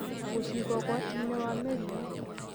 na kũciga ũgwati-inĩ wa mĩrimũ